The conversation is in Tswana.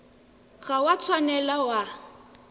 ga o a tshwanela wa